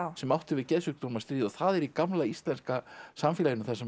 sem átti við geðsjúkdóm að stríða og það er í gamla íslenska samfélaginu þar sem